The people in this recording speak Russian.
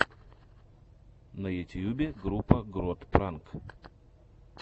на ютьюбе группа грот пранк